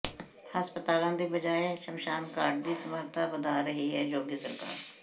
ਹਸਪਤਾਲਾਂ ਦੀ ਬਜਾਏ ਸ਼ਮਸ਼ਾਨ ਘਾਟ ਦੀ ਸਮਰੱਥਾ ਵਧਾ ਰਹੀ ਹੈ ਯੋਗੀ ਸਰਕਾਰ